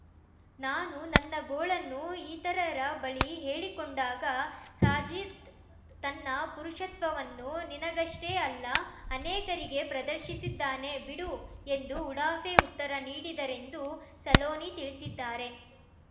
ನಾನು ನನ್ನ ಗೋಳನ್ನು ಇತರರ ಬಳಿ ಹೇಳಿಕೊಂಡಾಗ ಸಾಜಿದ್‌ ತನ್ನ ಪುರುಷತ್ವವನ್ನು ನಿನಗಷ್ಟೇ ಅಲ್ಲ ಅನೇಕರಿಗೆ ಪ್ರದರ್ಶಿಸಿದ್ದಾನೆ ಬಿಡು ಎಂದು ಉಡಾಫೆ ಉತ್ತರ ನೀಡಿದರೆಂದು ಸಲೋನಿ ತಿಳಿಸಿದ್ದಾರೆ